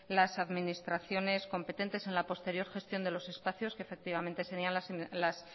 las administraciones competentes en la posterior gestión de los espacios que efectivamente serían las